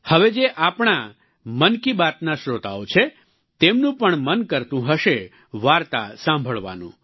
હવે જે આપણા મન કી બાતના શ્રોતાઓ છે તેમનું પણ મન કરતું હશે વાર્તા સાંભળવાનું